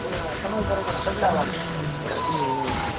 એમાં સમય કરવો પડે બદલાવવા પડે